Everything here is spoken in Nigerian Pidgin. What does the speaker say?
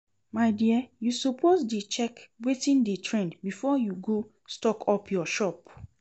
My dear you suppose dey check wetin dey trend before you go stock up your shop